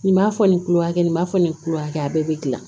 Nin b'a fɔ nin kulo hakɛ nin b'a fɛ nin kulo hakɛ a bɛɛ be gilan